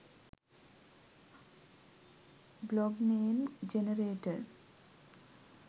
blog name generator